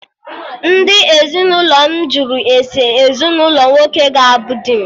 Ndị ezinụlọ m jụrụ ese ezinụlọ nwoke ga abụ di m